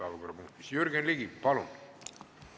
Härra Ratas!